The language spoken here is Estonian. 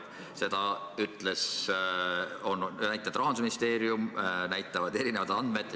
Seda näitab Rahandusministeerium, näitavad erinevad andmed.